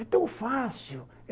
É tão fácil!